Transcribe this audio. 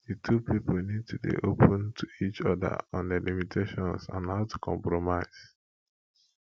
the two pipo need to dey open to each oda on their limitations and how to compromise